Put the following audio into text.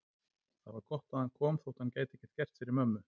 Það var gott að hann kom þótt hann gæti ekkert gert fyrir mömmu.